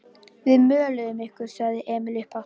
Við möluðum ykkur, sagði Emil upphátt.